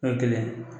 O ye kelen